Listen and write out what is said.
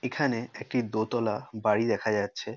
এখানে একটি দোতলা বাড়ি দেখা যাচ্ছে।